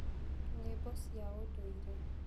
Nyiĩmbo cia ũndũire.